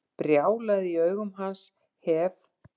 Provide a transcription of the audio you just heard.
Brjálæðið í augum hans hef